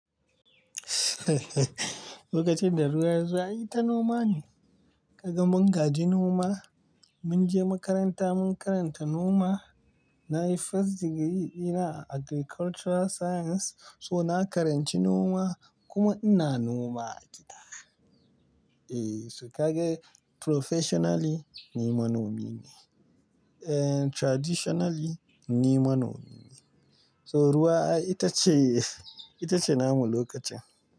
Lokacin da ruwa ya zo ai ta noma ne. Ka gan mun gadi noma, mun je makaranta mun karanta noma. Na yi first degree ina a Agricultural Science, so na karanci noma kuma ina noma a gida. E, su ka ga professionally ni manomi ne. Eh, traditionally ni manomi ne. So ruwa itace, itace namu lokacin.